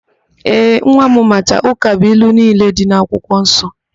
Ee, nwa m macha ụkabụilu niile dị n'akwụkwọ nsọ.